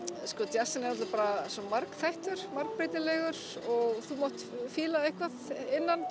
djassinn er náttúrulega svo margþættur margbreytilegur og þú mátt fíla eitthvað innan